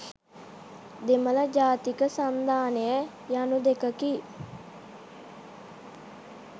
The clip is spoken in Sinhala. දෙමළ ජාතික සන්ධානය යනු දෙකකි.